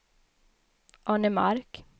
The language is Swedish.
Arnemark